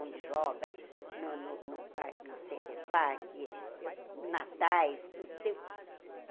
Onde joga, no no no Center Parque eu, Natais, tu